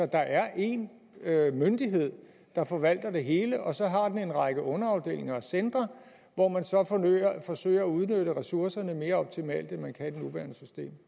der er en myndighed der forvalter det hele og så har den en række underafdelinger og centre hvor man så forsøger at udnytte ressourcerne mere optimalt end man kan i det nuværende system